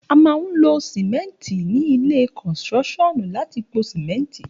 A mà hún ló Sọfẹli ni ìlẹ́ kọsíròsìọnú làtí pó símẹtí